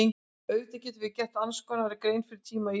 Auðvitað getum við gert annars konar grein fyrir tíma í íslensku.